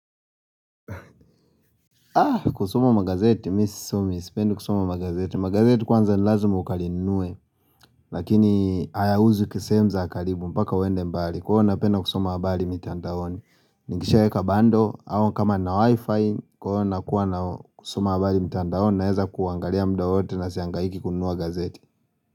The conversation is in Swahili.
Kusoma magazeti mi sisomi sipendi kusoma magazeti Magazeti kwanza ni lazima ukalinunue Lakini hayauzwi kwa sehemu za karibu mpaka uende mbali Kwa hio napenda kusoma habari mitandaoni Nikishaweka bando au kama nina wifi Kwa hio nakuwa na kusoma habari mitandaoni Naeza kuangalia muda wote na siangaiki kununua gazeti.